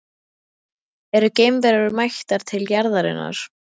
Eru geimverur mættar til jarðarinnar?